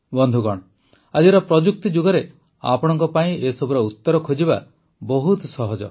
ବନ୍ଧୁଗଣ ଆଜିର ପ୍ରଯୁକ୍ତି ଯୁଗରେ ଆପଣଙ୍କ ପାଇଁ ଏସବୁର ଉତ୍ତର ଖୋଜିବା ବହୁତ ସହଜ